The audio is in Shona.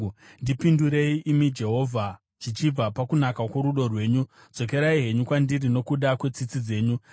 Ndipindurei, imi Jehovha, zvichibva pakunaka kworudo rwenyu; dzokerai henyu kwandiri nokuda kwetsitsi dzenyu huru.